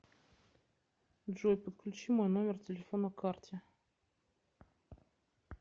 джой подключи мой номер телефона карте